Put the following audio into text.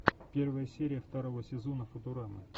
первая серия второго сезона футурама